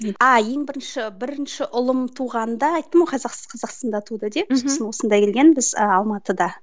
а ең бірінші бірінші ұлым туғанда айттым ғой қазақстанда туды деп сосын осында келгенбіз ыыы алматыда